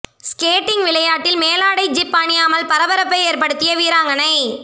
skating விளையாட்டில் மேலாடை zip அணியாமல் பரபரப்பை ஏற்படுத்திய வீராங்கனை